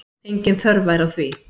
Engin þörf væri á því.